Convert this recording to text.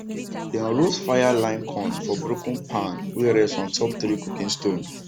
dem roast fire line corn for broken pan wey rest on top three cooking stone